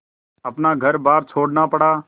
अपना घरबार छोड़ना पड़ा